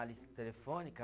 A lista telefônica?